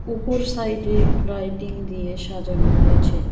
উপর সাইডে লাইটিং দিয়ে সাজানো হয়েছে।